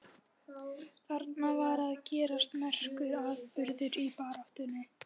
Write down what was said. Þarna var að gerast merkur atburður í baráttunni.